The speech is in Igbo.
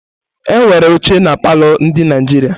Enwere óchè na palọ ndị Naijiria.